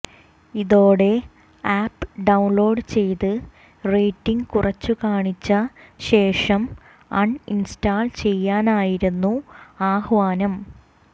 ഇതോടെ app download ചെയ്ത് rating കുറച്ചുകാണിച്ച ശേഷം അൺ ഇൻസ്റ്റാൾ ചെയ്യാനായിരുന്നു ആഹ്വാനം